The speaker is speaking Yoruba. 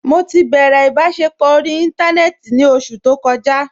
Mọ ti bẹrẹ ibasẹpọ orí ìntánẹnẹ́tì ní ọṣù tó kòjà.